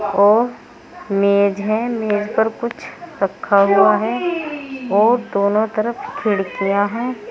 और मेज है मेज पर कुछ रखा हुआ है और दोनों तरफ खिड़कियां हैं।